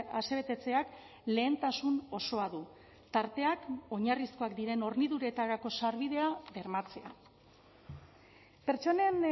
asebetetzeak lehentasun osoa du tarteak oinarrizkoak diren horniduretarako sarbidea bermatzea pertsonen